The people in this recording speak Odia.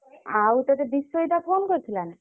ଆଉ ତତେ ବିଷୋଦିତା phone କରିଥିଲା ନା।